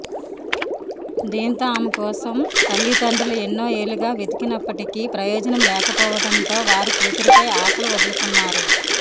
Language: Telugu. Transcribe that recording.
దీంతో ఆమె కోసం తల్లిదండ్రులు ఎన్నో ఏళ్లుగా వెతికినప్పటికీ ప్రయోజనం లేకపోవడంతో వారు కూతురిపై ఆశలు వదులుకున్నారు